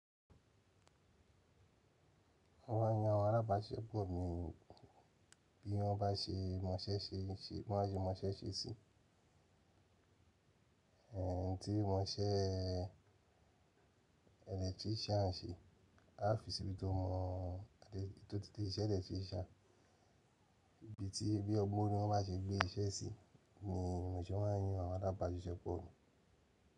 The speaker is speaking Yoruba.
Wọ́n á yan àwọn alábàáṣẹ pọ̀ mọ́ bí wọ́n bá ṣe mọṣẹ́ ṣe, wọ́n á ṣe mọṣẹ́ ṣe sí, ẹ̀ ti wọ́n ṣẹ́ electrician ṣe, a ó fi síbi tó mọ̀, títí iṣẹ́ electrician, ibi tí bí ọgbọ́n ni wọ́n bá ṣe gbé iṣẹ́ sí ni ìránṣẹ́ wọ́n á yín àwọn alábáṣeṣẹ pọ̀.